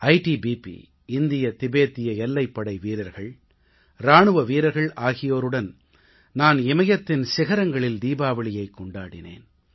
ITBP இந்திய திபேத்திய எல்லைப்படை வீரர்கள் இராணுவ வீரர்கள் ஆகியோருடன் நான் இமயத்தின் சிகரங்களில் தீபாவளியைக் கொண்டாடினேன்